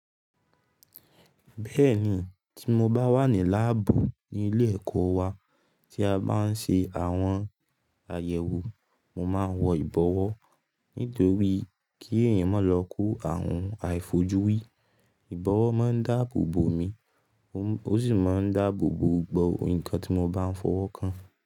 Bẹ́ẹ̀ni, tí mo bá wà ní láàbù ní ilé ẹ̀kọ́ wa tí a bá ń ṣe àwọn àyẹ̀wò, mo máa ń wọ ìbọwọ́. Nítorí kí èèyàn má lọ kó àwọn àìfojúrí. Ìbọwọ́ máa ń dáàbò bo mi ó m o sì máa ń dáàbò bo gbogbo nǹkan tí mo bá ń fọwọ́ kan.